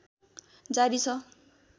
जारी छ